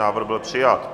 Návrh byl přijat.